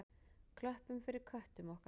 Klöppum fyrir köttum okkar!